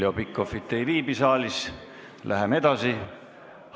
Heljo Pikhof ei viibi saalis, läheme edasi.